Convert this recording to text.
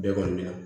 Bɛɛ kɔni bɛ na